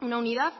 una unidad